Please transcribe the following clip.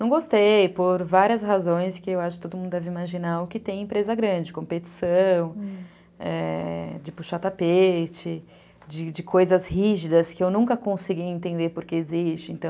Não gostei, por várias razões que eu acho que todo mundo deve imaginar o que tem em empresa grande, competição, é... de puxar tapete, de coisas rígidas que eu nunca consegui entender porque existe, então...